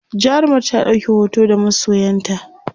jarumar ta ɗauki hoto da masoyanta?